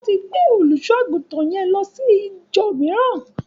Wón ti gbé olùṣọ-àgùntàn yẹn lọ sí íjọ mííràn.